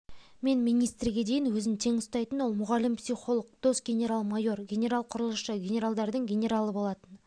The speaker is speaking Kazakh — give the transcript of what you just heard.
мен министрге дейін өзін тең ұстайтын ол мұғалім психолог дос генерал-майор генерал-құрылысшы генаралдардың генералы болатын